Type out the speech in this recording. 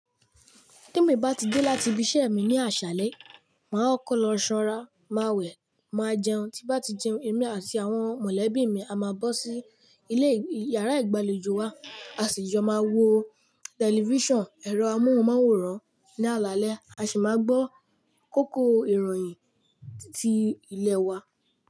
Temí bá ti dé láti ibi iṣẹ́ mi ní àṣálẹ́, màá kokọ lo ṣọ́nra, màá wẹ̀, màá jẹun, tí m bá ti jẹun, èmi àti àwọn mọ̀lẹ́bí mi á máa bọ́ sí ilé yàrá ìgbàlejò wa, a sì jo máa wo tẹlifíṣàn, ẹ̀rọ amóhùnmáwòrán ní alaalẹ́, a sì máa gbọ́ kókó ìròyìn ti ilẹ̀ wa.